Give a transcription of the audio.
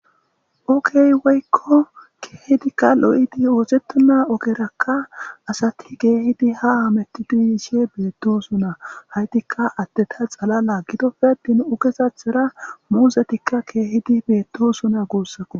ookey woykko keehidikka lo7idi oosettuna ogerakka asati geehidi ha ametti duuyiishe beettosuna haytikka atte ta xalala gidoppedin ugezathera muuzetikka keehidi beettosuna guussako